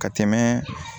Ka tɛmɛ